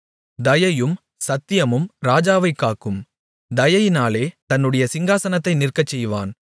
தயையும் சத்தியமும் ராஜாவைக் காக்கும் தயையினாலே தன்னுடைய சிங்காசனத்தை நிற்கச்செய்வான்